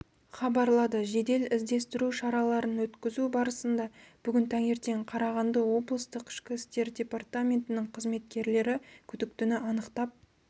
хабарлады жедел-іздестіру шараларын өткізу барысында бүгін таңертең қарағанды облыстық ішкі істер департаментінің қызметкерлері күдіктіні анықтап